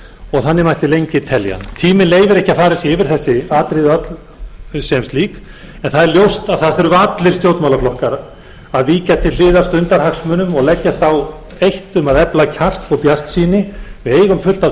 og þannig mætti lengi telja tíminn leyfir ekki að farið sé yfir þessi atriði öll sem slík en það er ljóst að það þurfa allir stjórnmálaflokkar að víkja til hliðar stundarhagsmunum og leggjast á eitt um að efla kjark og bjartsýni við eigum fullt af